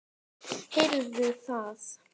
Heyrðu það!